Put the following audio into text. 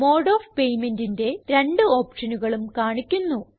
mode of paymentന്റെ രണ്ട് ഓപ്ഷനുകളും കാണിക്കുന്നു